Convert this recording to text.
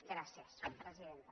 gràcies presidenta